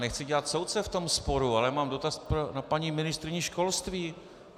Nechci dělat soudce v tomto sporu, ale mám dotaz na paní ministryni školství.